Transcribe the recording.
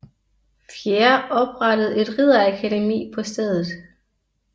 IV oprettede et ridderakademi på stedet